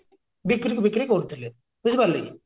ବିକ୍ରି ଫିକ୍ରୀ କରୁଥିଲେ ବୁଝିପାରିଲେ କି